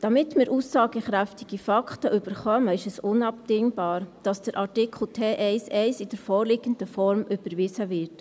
Damit wir aussagekräftige Fakten erhalten, ist es unabdingbar, dass Artikel T1-1 in der vorliegenden Form überwiesen wird.